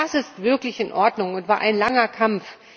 Das ist wirklich in Ordnung und war ein langer Kampf.